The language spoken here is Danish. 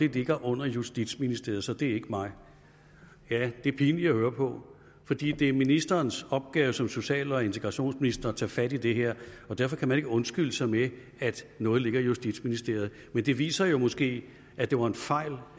ligger under justitsministeren så det er ikke mig ja det er pinligt at høre på fordi det er ministerens opgave som social og integrationsminister at tage fat i det her og derfor kan man ikke undskylde sig med at noget ligger i justitsministeriet men det viser jo måske at det var en fejl